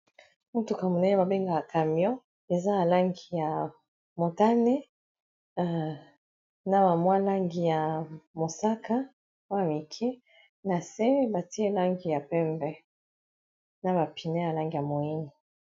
Motuka monene babenga camion eza alangi ya motane na ba mwa langi ya mosaka oyo ya mike na se batie langi ya pembe na ba pine ya langi ya moyindo.